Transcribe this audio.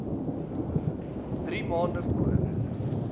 drie maande voor